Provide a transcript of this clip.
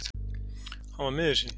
Hann var miður sín.